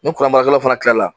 Ni baarakɛla fana tilala